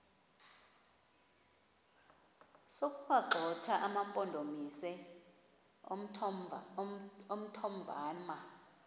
sokuwagxotha amampondomise omthonvama